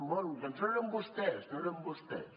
bé doncs no eren vostès no eren vostès